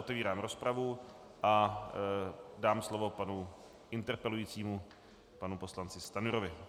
Otevírám rozpravu a dám slovo panu interpelujícímu panu poslanci Stanjurovi.